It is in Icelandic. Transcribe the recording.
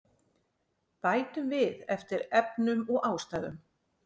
Bætum við eftir efnum og ástæðum